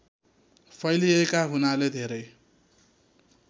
फैलिएका हुनाले धेरै